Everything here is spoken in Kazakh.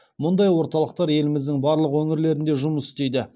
мұндай орталықтар еліміздің барлық өңірлерінде жұмыс істейді